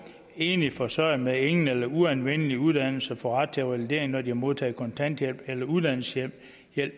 enlige forsørgere med ingen eller en uanvendelig uddannelse der får ret til revalidering når de har modtaget kontanthjælp eller uddannelseshjælp